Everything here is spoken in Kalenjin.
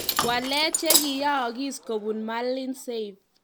Waleet che kiyaakis kobun Maalin Seif.